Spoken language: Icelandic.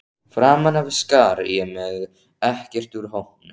Framan af skar ég mig ekkert úr hópnum.